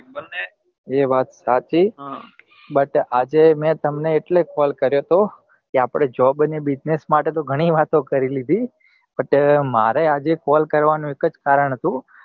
એ વાત સાચી but આજે મેં તમને એટલે call કર્યો હતો કે આપડે job અને business માટે તો ગણી વાતો કકરી લીધી but મારે આજે call કરવા નું એક જ કારણ હતું